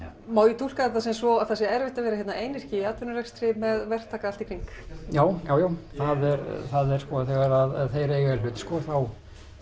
má ég túlka þetta svo að það sé erfitt að vera hérna einyrki í atvinnurekstri með verktaka allt í kring jájá það er þegar þeir eiga í hlut þá